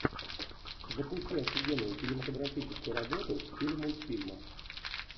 запусти офигенную кинематографическую работу в стиле мультфильма